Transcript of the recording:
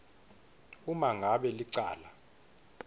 uma ngabe licala